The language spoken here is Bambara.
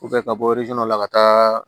ka bɔ la ka taa